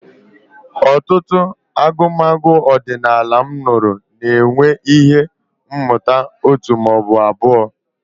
Ọtụtụ agụmagụ ọdịnala m nụrụ na-enwe ihe mmụta òtù ma ọ bụ abụọ.